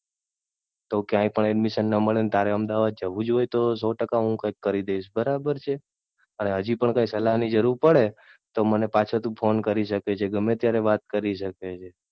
તો ક્યાય પણ Admission ન મળે ને તારે અમદાવાદ જવુજ હોય તો સો ટકા હું કઇક કરી દઈશ. બરાબર છે. અને હજી પણ કઈ સલાહ ની જરૂર પડે તો મને પાછો તું ફોન કરી શકે છે ગમે ત્યારે વાત કરી શકે છે.